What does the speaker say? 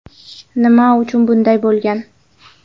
Nima uchun bunday bo‘lgan?